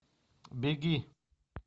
беги